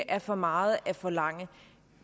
er for meget at forlange